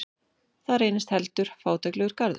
Það reynist heldur fátæklegur garður.